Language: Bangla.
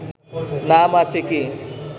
নাম আছে কি?